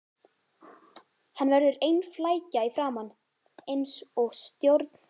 Hann verður ein flækja í framan, eins og stjórn